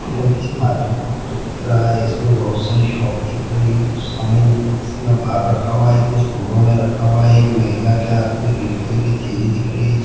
किसी मार्केट का फोटो दिख रहा है इसमें बहुत सारी शॉप दिख रही है कुछ समान बक्से में बाहर रखा हुआ है कुछ बोरों में रखा हुआ दिख रहा है एक महिला के हाथ में रेड कलर की थैली दिख रही है।